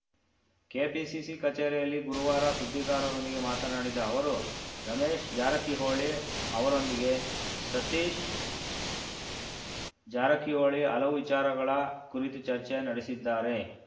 KPCC ಕಚೇರಿಯಲ್ಲಿ ಗುರುವಾರ ಸುದ್ದಿಗಾರರೊಂದಿಗೆ ಮಾತನಾಡಿದ ಅವರು ರಮೇಶ್‌ ಜಾರಕಿಹೊಳಿ ಅವರೊಂದಿಗೆ ಸತೀಶ್‌ ಜಾರಕಿಹೊಳಿ ಹಲವು ವಿಚಾರಗಳ ಕುರಿತು ಚರ್ಚೆ ನಡೆಸಿದ್ದಾರೆ